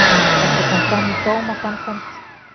Þetta komi fram í dómaframkvæmd